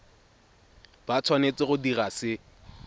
ba tshwanetse go dira se